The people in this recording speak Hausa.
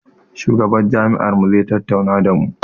Shugaban jami'ar mu zai tattauna da mu